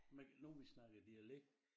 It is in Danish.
Men når vi snakker dialekt